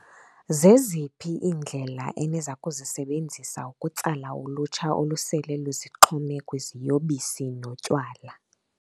Zeziphi iindlela eniza kuzisebenzisa ukutsala ulutsha olusele luzixhome kwiziyobisi notywala?